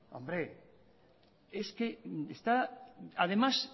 hombre es que está además